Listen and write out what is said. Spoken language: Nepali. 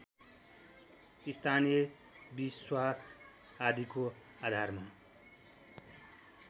स्थानीय विश्वास आदिको आधारमा